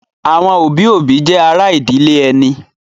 Àwọn òbí-òbí jẹ́ ará ìdílé ẹni.